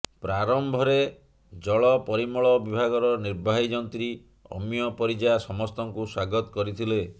ପ୍ରାରମ୍ଭରେ ଜଳ ପରିମଳ ବିଭାଗର ନିର୍ବାହୀ ଯନ୍ତ୍ରୀ ଅମିୟ ପରିଜା ସମସ୍ତଙ୍କୁ ସ୍ୱାଗତ କରିଥିଲେ